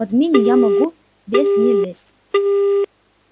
под мини я могу весь не влезть